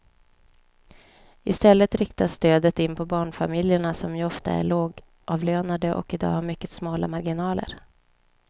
I stället riktas stödet in på barnfamiljerna som ju ofta är lågavlönade och i dag har mycket smala marginaler.